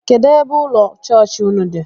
Kedụ ebe ụlọ chọọchị ụnụ dị?